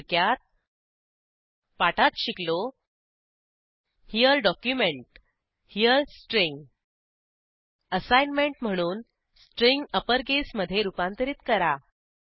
थोडक्यात पाठात शिकलो here document here string assignment म्हणून स्ट्रिंग अप्पर केसमधे रूपांतरित करा